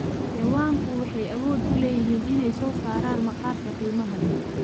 Xayawaanku waxay awood u leeyihiin inay soo saaraan maqaarka qiimaha leh.